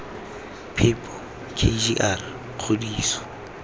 phepo k g r kgodiso